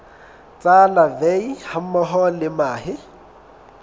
tsa larvae hammoho le mahe